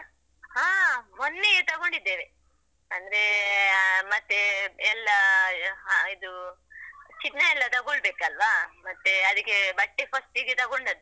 ಹಾ ಮೊನ್ನೆಯೆ ತಗೊಂಡಿದ್ದೇವೆ, ಅಂದ್ರೆ ಮತ್ತೆ ಎಲ್ಲ ಇದು ಚಿನ್ನ ಎಲ್ಲ ತಗೊಳ್ಬೇಕಲ್ವ, ಮತ್ತೆ ಅದಕ್ಕೆ ಬಟ್ಟೆ first ಗೆ ತಗೊಂಡದ್ದು.